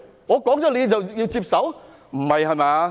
我說他是，他就要接受嗎？